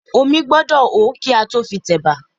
Omí gbọ́dọ̀ hó kí a tó fi tẹ̀bà